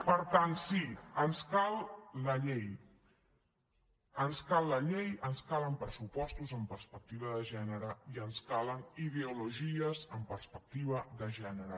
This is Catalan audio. per tant sí ens cal la llei ens calen pressupostos amb perspectiva de gènere i ens calen ideologies amb perspectiva de gènere